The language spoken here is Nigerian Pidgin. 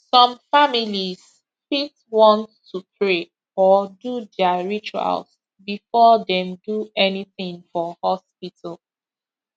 some families fit want to pray or do their rituals before dem do anything for hospital